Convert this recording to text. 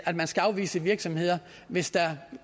at man skal afvise virksomheder hvis der